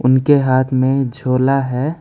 उनके हाथ में झोला है।